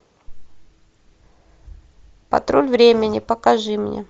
патруль времени покажи мне